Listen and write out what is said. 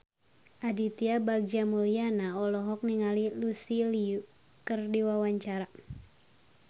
Aditya Bagja Mulyana olohok ningali Lucy Liu keur diwawancara